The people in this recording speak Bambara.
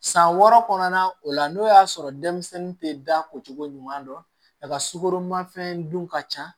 San wɔɔrɔ kɔnɔna o la n'o y'a sɔrɔ denmisɛnnin tɛ da ko cogo ɲuman dɔn a ka sukoro ma fɛn dun ka ca